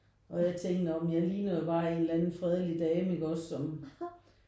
Og jeg tænkte når men jeg ligner jo bare en eller anden fredelig dame ikke også som